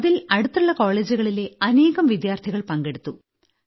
അതിൽ അടുത്തുള്ള കോളേജുകളിലെ അനേകം വിദ്യാർത്ഥികൾപങ്കെടുത്തു